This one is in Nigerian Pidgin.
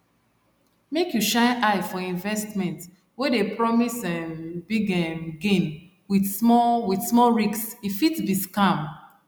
make you shine eye for investment wey dey promise um big um gain with small with small risk e fit be scam